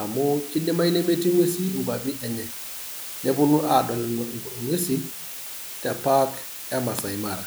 amu kidimayu nemetii ng'uesi inkwapi enye. Neponu adol ing'uesin tepak emasai mara.